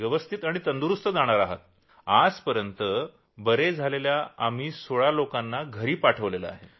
अशा पद्घतीनं आम्ही 16 रूग्णांना घरी पाठवलं आहे